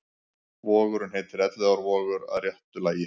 Vogurinn heitir Elliðaárvogur að réttu lagi.